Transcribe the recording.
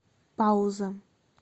пауза